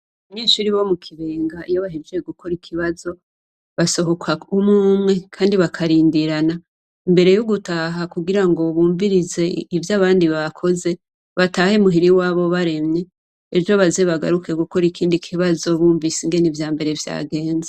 Abanyeshure bo mu Kibenga iyo bahejeje gukora ikibazo basohoka umwumwe kandi bakarindirana mbere yo gutaha kugira ngo bumvirize ivyo abandi bakoze batahe muhira iwabo baremye ejo baze bagaruke gukora ikindi kibazo bumva ingene ivya mbere vyagenze.